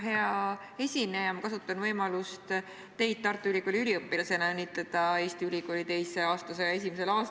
Hea esineja, ma kasutan võimalust teid kui Tartu Ülikooli üliõpilast õnnitleda Eesti ülikooli teise aastasaja esimesel aastal.